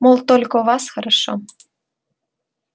мол только у вас хорошо